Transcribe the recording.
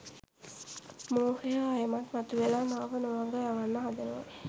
මෝහය ආයෙමත් මතුවෙලා මාව නොමග යවන්න හදනවා.